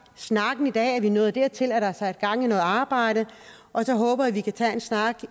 snakken i dag vi er nået dertil at der er sat gang i noget arbejde og så håber jeg at vi kan tage en snak